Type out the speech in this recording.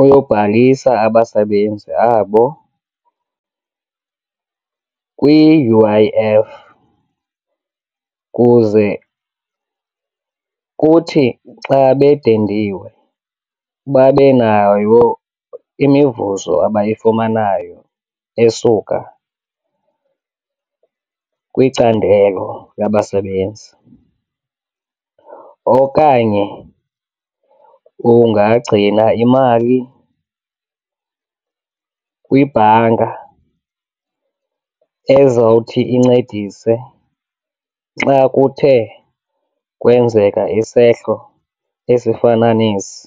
uyobhalisa abasebenzi abo kwi-U_I_F kuze kuthi xa bedendiwe babe nayo imivuzo abayifumanayo esuka kwicandelo labasebenzi. Okanye ungagcina imali kwibhanka ezawuthi incedise xa kuthe kwenzeka isehlo esifana nesi.